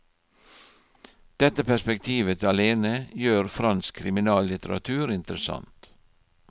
Dette perspektivet alene gjør fransk kriminallitteratur interessant.